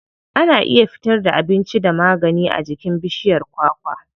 Ana iya fitar da abinci da magani a jikin bishiyar kwakwa.